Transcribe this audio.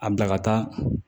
A bila ka taa